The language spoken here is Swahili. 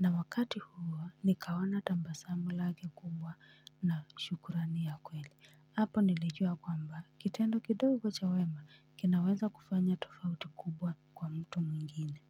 na wakati huo nikaona tabasamu lake kubwa na shukurani ya kweli hapo nilijua kwamba kitendo kidogo cha wema kinaweza kufanya tofauti kubwa kwa mtu mwingine.